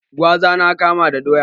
Gwaza na kama da doya